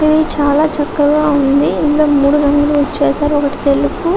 ఇది చాలా చక్కగా ఉంది. ఇందులో మూడు రంగులు ఒకటి తెలుపు --